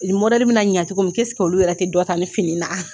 Nin bɛna ɲa cogo min olu yɛrɛ ti dɔ ta nin fini na ?